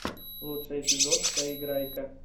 лучший эпизод поиграйка